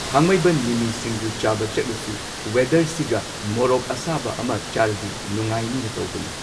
ꯊꯥꯡꯃꯩꯕꯟ ꯃꯤꯃꯤ ꯁꯤꯡꯖꯨ ꯆꯥꯕ ꯆꯠꯂꯨꯁꯤ ꯋꯦꯗꯔꯁꯤꯒ ꯃꯣꯔꯣꯛ ꯑꯁꯥꯕ ꯑꯃ ꯆꯥꯔꯗꯤ ꯅꯨꯡꯉꯥꯏꯅꯤꯅ ꯇꯧꯕꯅꯤ